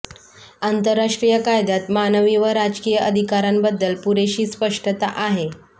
आंतरराष्ट्रीय कायद्यात मानवी व राजकीय अधिकारांबद्दल पुरेशी स्पष्टता आहे